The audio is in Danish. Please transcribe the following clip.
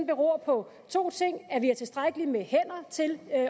beror på to ting dels at vi har tilstrækkeligt med hænder til at